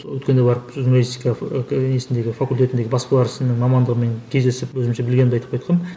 өткенде барып журналистика ы несіндегі факультетіндегі баспалар ісінің мамандығымен кездесіп өзімше білгенімді айтып қайтқанмын